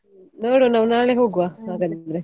ನೋಡ್ವ ನಾವು ನಾಳೆ ಹೋಗ್ವ ಆಗದಿದ್ರೆ.